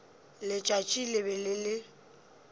letšatši le be le le